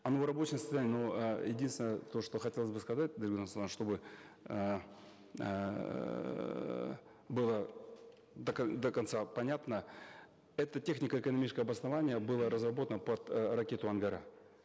оно в рабочем состоянии но э единственное то что хотелось бы сказать дарига нурсултановна чтобы эээ было до до конца понятно это технико экономическое обоснование было разработано под э ракету ангара